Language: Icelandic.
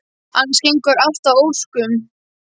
Annars gengur allt að ósk- um.